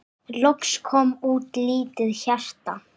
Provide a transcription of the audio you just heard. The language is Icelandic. Loks kom út lítið hjarta